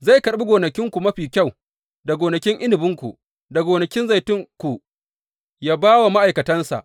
Zai karɓi gonakinku mafi kyau da gonakin inabinku da gonakin zaitunku yă ba wa ma’aikatansa.